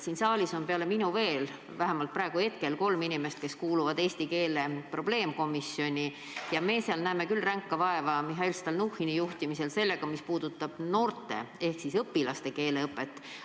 Siin saalis on hetkel peale minu veel kolm inimest, kes kuuluvad eesti keele probleemkomisjoni ja me näeme seal Mihhail Stalnuhhini juhtimisel ränka vaeva probleemidega, mis puudutavad noorte ehk siis õpilaste keeleõpet.